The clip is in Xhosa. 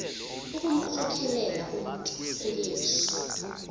ukumkhokelela umntu kuyesu